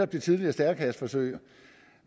det tidligere stærekasseforsøg